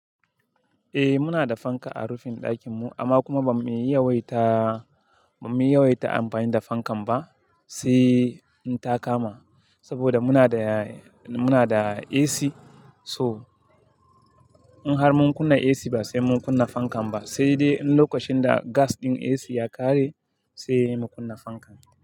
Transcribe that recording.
Eh muna da fanka a rufin ɗakin mu amma kuma ba mu yi wayta, ba mu yi wayta amfani da fankan ba sai in ta kama. Saboda muna da, muna da AC so in har mun kunna AC ba sai mun kunna fankan ba. Sai dai lokacin da gas ɗin AC ya ƙare sai mu kunna fankan.